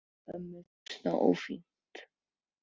Ég held að ömmu finnist það ófínt.